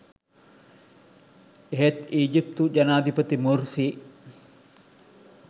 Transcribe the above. එහෙත් ඊජිප්තු ජනාධිපති මුර්සි